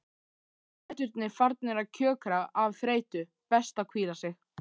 Fæturnir farnir að kjökra af þreytu, best að hvíla sig.